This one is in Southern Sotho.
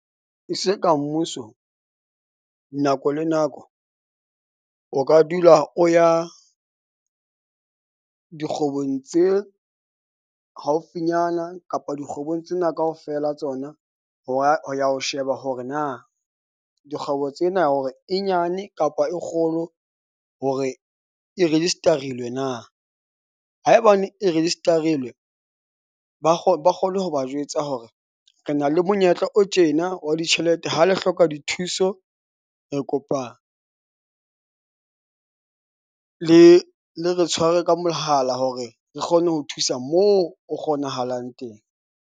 E se ka mmuso, nako le nako, o ka dula o ya dikgwebong tse haufinyana kapa dikgwebong tsena kaofela ha tsona. Hora ho ya ho sheba hore na dikgwebo tsena hore e nyane kapa e kgolo hore e register-ilwe na. Haebane e register-ilwe ba ba kgone ho ba jwetsa hore re na le monyetla o tjena wa ditjhelete. Ha le hloka dithuso re kopa le le re tshware ka mohala hore re kgone ho thusa mo o kgonahalang teng.